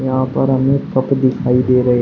यहां पर हमें कप दिखाई दे रहे।